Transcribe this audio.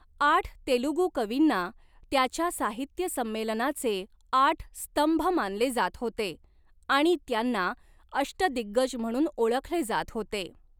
आठ तेलुगू कवींना त्याच्या साहित्य संमेलनाचे आठ स्तंभ मानले जात होते आणि त्यांना अष्टदिग्गज म्हणून ओळखले जात होते.